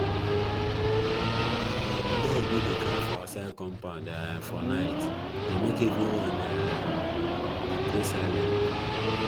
um dog wey dey cry for outside compound um for night dey make everyone um dey pray silently